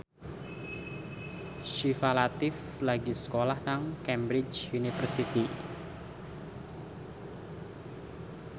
Syifa Latief lagi sekolah nang Cambridge University